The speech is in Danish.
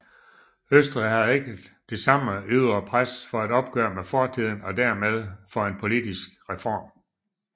Østrig havde ikke det samme ydre pres for et opgør med fortiden og dermed for en politisk reform